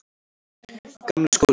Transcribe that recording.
Gamli skóli